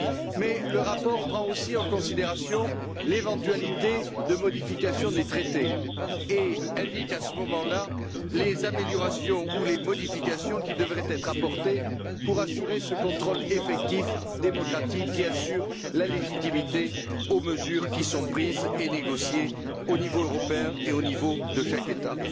Mais le rapport prend aussi en considération l'éventualité de modification des traités et indique à ce moment là les améliorations ou les modifications qui devraient être apportées pour assurer ce contrôle effectif, démocratique qui assure la légitimité aux mesures qui sont prises et négociées au niveau européen et au niveau de chaque État.